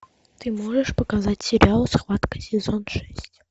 ты можешь показать сериал схватка сезон шесть